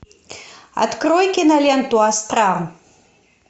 открой киноленту астрал